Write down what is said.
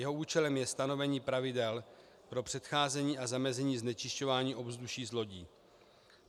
Jeho účelem je stanovení pravidel pro předcházení a zamezení znečišťování ovzduší z lodí.